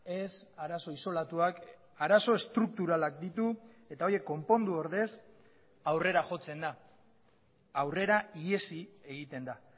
ez arazo isolatuak arazo estrukturalak ditu eta horiek konpondu ordez aurrera jotzen da aurrera ihesi egiten da